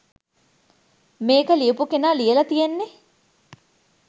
මේක ලියපු කෙනා ලියල තියෙන්නේ